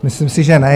Myslím si, že ne.